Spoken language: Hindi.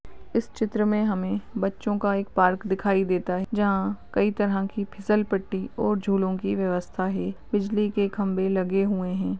इस चित्र मे हमे बच्चो का एक पार्क दिखाई देता है। जहाँ कई तरह की फिसल पट्टी और झूलों की व्यवस्था है। बिजली के खंभे लगे हुए हैं।